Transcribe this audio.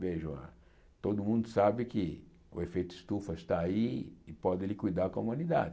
Veja, todo mundo sabe que o efeito estufa está aí e pode liquidar a comunidade.